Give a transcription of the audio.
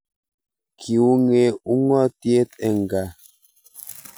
Kiuny'e ung'otiet eng kaa